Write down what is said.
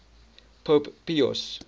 pope pius